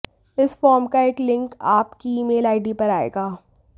इस फॉर्म का एक लिंक आप की ईमेल आईडी पर आयेगा